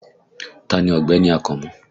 Taa ni Ọ̀gbẹ́ni Akànmú?